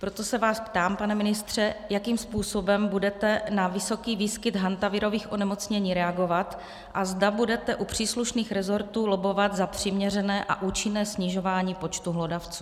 Proto se vás ptám, pane ministře, jakým způsobem budete na vysoký výskyt hantavirových onemocnění reagovat a zda budete u příslušných rezortů lobbovat za přiměřené a účinné snižování počtu hlodavců.